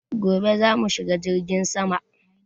Gobe za mu shiga jirgin sama